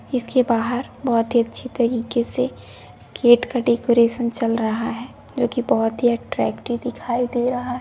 इस के बहार बहुत ही अच्छी तरीके से गेट का डेकोरेशन चल रहा है जो की बहुत ही अट्रैक्टिव दिखाई दे रहा --